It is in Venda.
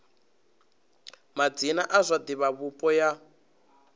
madzina a zwa divhavhupo ya